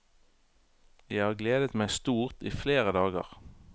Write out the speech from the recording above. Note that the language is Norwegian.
Jeg har gledet meg stort i flere dager.